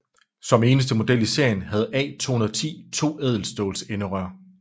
Som eneste model i serien havde A 210 to ædelstålsenderør